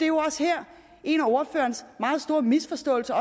jo også her en af ordførerens meget store misforståelser